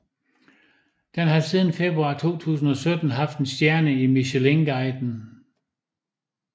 Den har siden februar 2017 haft én stjerne i Michelinguiden